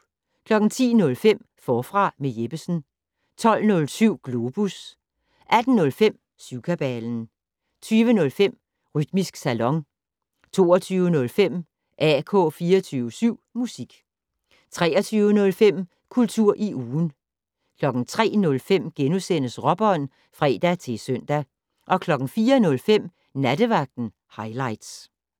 10:05: Forfra med Jeppesen 12:07: Globus 18:05: Syvkabalen 20:05: Rytmisk Salon 22:05: AK 24syv Musik 23:05: Kultur i ugen 03:05: Råbånd *(fre-søn) 04:05: Nattevagten Highligts